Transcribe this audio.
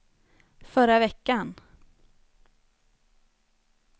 förra veckan